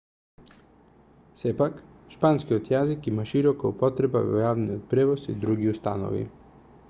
сепак шпанскиот јазик има широка употреба во јавниот превоз и други установи